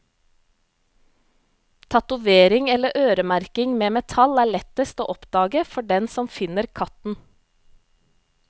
Tatovering eller øremerking med metall er lettest å oppdage for den som finner katten.